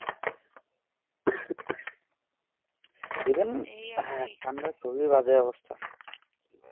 এবং এই হেঁ ঠান্ডা কুবি বাজে অবস্থা